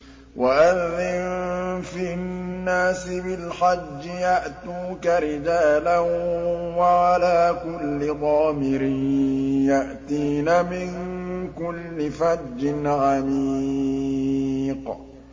وَأَذِّن فِي النَّاسِ بِالْحَجِّ يَأْتُوكَ رِجَالًا وَعَلَىٰ كُلِّ ضَامِرٍ يَأْتِينَ مِن كُلِّ فَجٍّ عَمِيقٍ